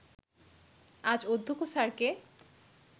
আজ অধ্যক্ষ স্যারকে